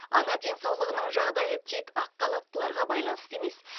ана денсаулығының жағдайы тек ақ халаттыларға байланысты емес